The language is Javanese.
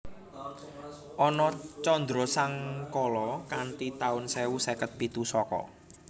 Ana candrasangkala kanthi taun sewu seket pitu Saka